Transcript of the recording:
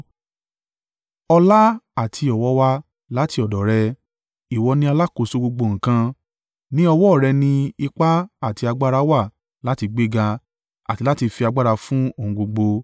Ọlá àti ọ̀wọ̀ wá láti ọ̀dọ̀ Rẹ; ìwọ ni alákòóso gbogbo nǹkan. Ní ọwọ́ rẹ ni ipá àti agbára wà láti gbéga àti láti fi agbára fún ohun gbogbo.